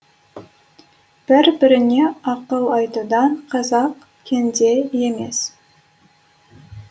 бір біріне ақыл айтудан қазақ кенде емес